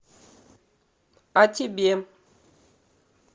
о тебе